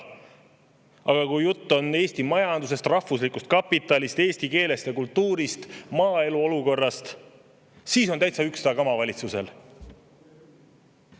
Aga kui jutt on Eesti majandusest, rahvuslikust kapitalist, eesti keelest ja kultuurist, maaelu olukorrast, siis on valitsusel täitsa ükstakama.